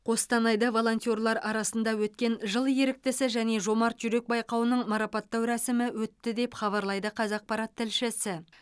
қостанайда волонтерлар арасында өткен жыл еріктісі және жомарт жүрек байқауының марапаттау рәсімі өтті деп хабарлайды қазақпарат тілшісі